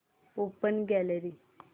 open gallery